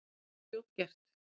Það er fljótgert.